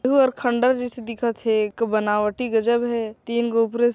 गुब और खंडर जैसे दिखत हे बनावटी गजब हे तीन गो उपरे --।